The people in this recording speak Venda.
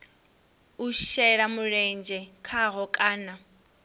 u shela mulenzhe khaho kana